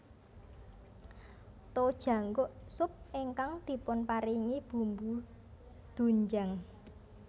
Tojangguk sup ingkang dipunparingi bumbu doenjang